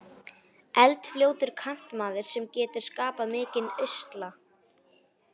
Eldfljótur kantmaður sem getur skapað mikinn usla.